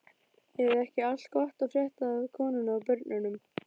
Er ekki allt gott að frétta af konunni og börnunum?